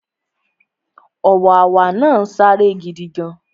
Ọ̀wàwà náà sáré gidigan